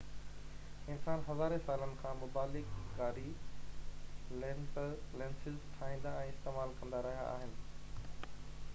انسان هزارين سالن کان مبالغه ڪاري لينسز ٺاهيندا ۽ استعمال ڪندا رهيا آهن